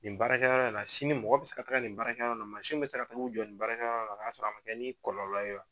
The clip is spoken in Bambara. Nin baara kɛ yɔrɔ la sini mɔgɔ bɛ se ka taga nin baara mansin bɛ se ka t'u k'uw jɔ nin baara kɛ yɔrɔ la k'a sɔrɔ a man kɛ ni kɔlɔlɔ ye wa.